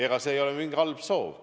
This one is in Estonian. Ega see ei ole mingi halb soov.